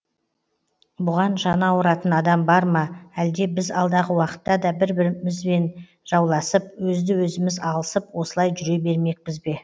бұған жаны ауыратын адам бар ма әлде біз алдағы уақытта да бір бірімізбен жауласып өзді өзіміз алысып осылай жүре бермекпіз бе